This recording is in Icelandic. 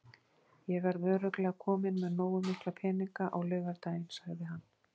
Ég verð örugglega kominn með nógu mikla peninga á laugardaginn, sagði hann.